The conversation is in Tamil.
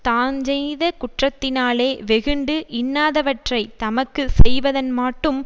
தாஞ்செய்த குற்றத்தினாலே வெகுண்டு இன்னாதவற்றைத் தமக்கு செய்தவன்மாட்டும்